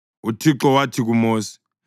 UThixo wathi kuMosi,